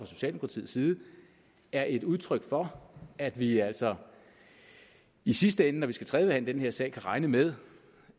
socialdemokratiets side er et udtryk for at vi altså i sidste ende når vi skal tredjebehandle den her sag kan regne med